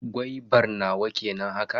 Gwaibar nawa kenan haka?